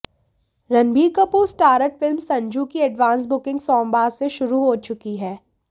Ranbir Kapoor starrer film Sanju की advance booking सोमवार से शुरु हो चुकी है